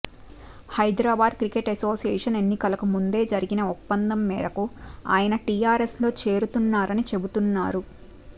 Hyderabad cricket association ఎన్నికలకు ముందే జరిగిన ఒప్పందం మేరకు ఆయన టీఆర్ఎస్ లో చేరుతున్నారని చెబుతున్నారు